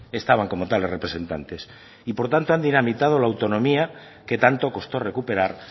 estaban como tales representantes y por tanto han dinamitado la autonomía que tanto costó recuperar